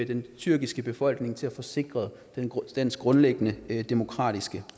den tyrkiske befolkning til at få sikret dens grundlæggende demokratiske